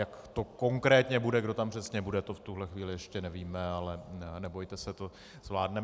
Jak to konkrétně bude, kdo tam přesně bude, to v tuhle chvíli ještě nevíme, ale nebojte se, to zvládneme.